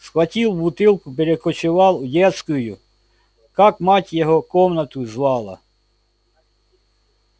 схватил бутылку перекочевал в детскую как мать его комнату звала